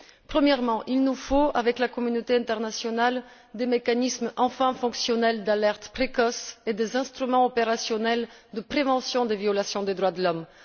Premièrement, il nous faut, avec la communauté internationale, des mécanismes enfin fonctionnels d'alerte précoce et des instruments opérationnels de prévention des violations des droits de l'homme.